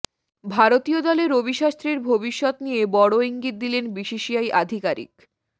ভারতীয় দলে রবি শাস্ত্রীর ভবিষ্যৎ নিয়ে বড়ো ইঙ্গিত দিলেন বিসিসিআই আধিকারিক